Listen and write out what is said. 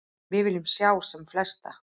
Við viljum sjá sem flesta.